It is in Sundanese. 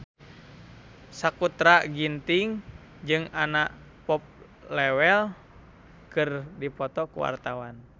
Sakutra Ginting jeung Anna Popplewell keur dipoto ku wartawan